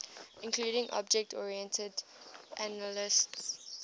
include object oriented analysis